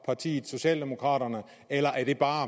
partiet socialdemokraterne eller er det bare